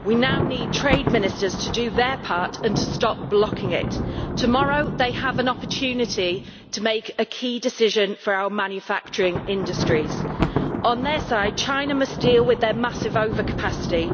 We now need trade ministers to do their part and to stop blocking it. Tomorrow they have an opportunity to make a key decision for our manufacturing industries. On their side, China must deal with their massive overcapacity